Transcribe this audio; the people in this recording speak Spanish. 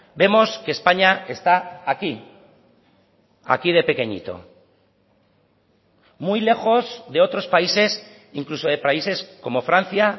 vemos que españa está aquí aquí de pequeñito muy lejos de otros países incluso de países como francia